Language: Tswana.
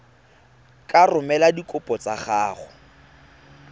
ka romela dikopo tsa gago